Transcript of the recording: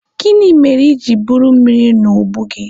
Gịnị mere iji buru mmiri a n'ubu gị?